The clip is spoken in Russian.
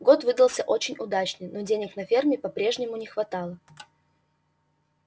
год выдался очень удачный но денег на ферме по-прежнему не хватало